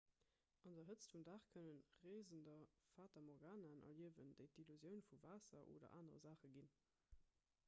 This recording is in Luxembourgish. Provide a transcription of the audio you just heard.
an der hëtzt vum dag kënne reesender fata morganaen erliewen déi d'illusioun vu waasser oder anere saache ginn